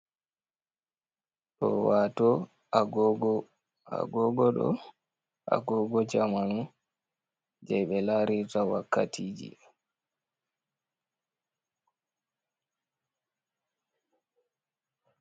Ɗo wato Agogo, Agogo ɗo, Agogo jamanu je ɓe larirta wakkatiji.